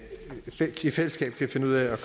er